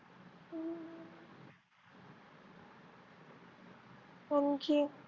आणखी?